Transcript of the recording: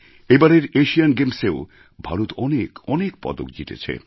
এবারের এশিয়ান গেমসএও ভারত অনেক পদক জিতেছে